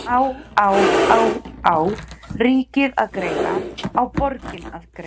Á á á á ríkið að greiða, á borgin að greiða?